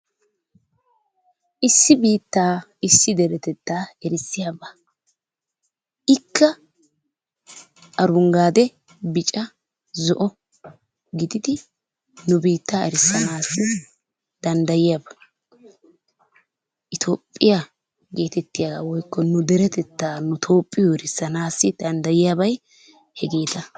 Issi biitta issi deretetta erissiyaaba. ikka arunggaade, bicca, zo'o gididi nu biitta erissanassi danddayiyaaba. Itoophiyaa getettiya woykko nu deretetta woykko nu Toophiyo erissanassi dandayiyyabay hegeeta.